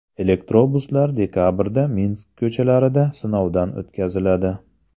Elektrobuslar dekabrda Minsk ko‘chalarida sinovdan o‘tkaziladi.